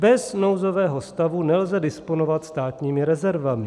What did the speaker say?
Bez nouzového stavu nelze disponovat státními rezervami.